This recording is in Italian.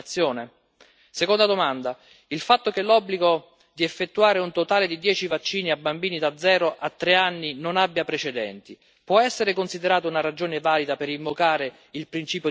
Seconda domanda il fatto che l'obbligo di effettuare un totale di dieci vaccini a bambini da zero a tre anni non abbia precedenti può essere considerato una ragione valida per invocare il principio di precauzione?